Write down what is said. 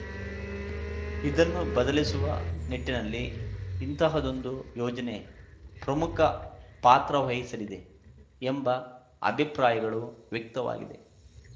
ಇದನ್ನು ಬದಲಿಸುವ ನಿಟ್ಟಿನಲ್ಲಿ ಇಂತಹದೊಂದು ಯೋಜನೆ ಪ್ರಮುಖ ಪಾತ್ರ ವಹಿಸಲಿದೆ ಎಂಬ ಅಭಿಪ್ರಾಯಗಳು ವ್ಯಕ್ತವಾಗಿದೆ